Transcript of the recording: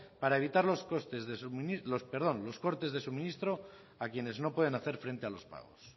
para evitar los cortes de suministro a quienes no pueden hacer frente a los pagos